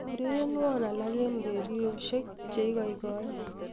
urerenwon alak en ureryosiek cheigoigoe